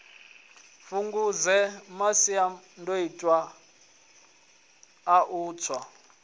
fhungudze masiandoitwa a u tsa